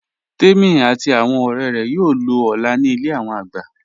Tèmi àti awọn ọ̀rẹ̀ rẹ̀ yóò lọ̀ ọ́lá ní ilẹ̀ awọn àgbà